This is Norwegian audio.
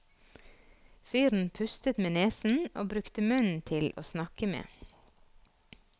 Fyren pustet med nesen og brukte munnen til åsnakke med.